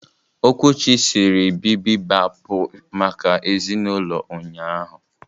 Okwuchi siri bibibapu maka ezinulo ụnyahụ.